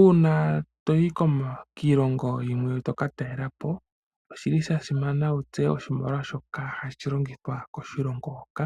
Uuna toyi kiilongo yimwe toka talelapo oshi li sha simana wu tseye oshimaliwa shoka hashi longithwa koshilongo hoka